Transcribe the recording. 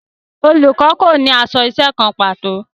Olùkọ́ kò ní aṣọ iṣẹ́ kan pàtó